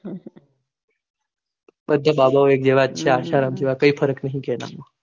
બધા બાબોઓ એક જેવાજ છે આશારામ જેવા કાય ફરક નહિ કોઈમાં